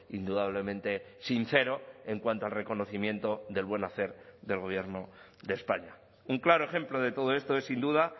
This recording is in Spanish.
indudablemente sincero en cuanto al reconocimiento del buen hacer del gobierno de españa un claro ejemplo de todo esto es sin duda